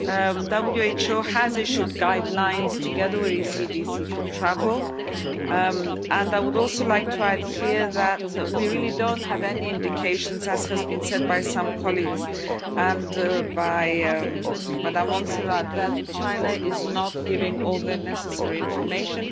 The WHO has issued guidelines, together with ECDC, for travel, and I would also like to add here that we really don't have any indications, as has been said by some colleagues and by Madam Montserrat, that China is not giving all the necessary information.